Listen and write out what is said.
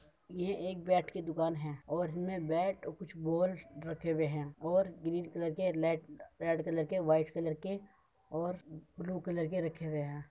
ये एक बैट की दुकान हैँ और इनमें बैट कुछ बॉल रखे हुऐ हैँं और ग्रीन कलर के लेड रेड कलर के वाइट कलर और ब्लू कलर के रखे हुऐ हैं।